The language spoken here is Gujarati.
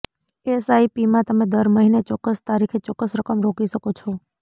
એસઆઇપીમાં તમે દર મહિને ચોક્કસ તારીખે ચોક્કસ રકમ રોકી શકો છો